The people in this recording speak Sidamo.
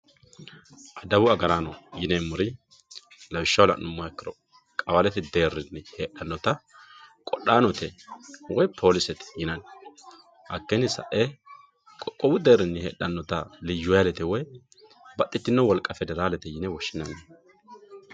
Daeu agarano yinremori lawishaho la'numoha ikkiro, qawallete heedhanotta qofhanote woyi polisete yinani hakini sae, qoqqowu deerinni heedhanotta liyuhailete woyi baxitino wolqa federalete yine woshinnanni